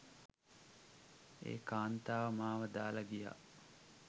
ඒ කාන්තාව මාව දාලා ගියා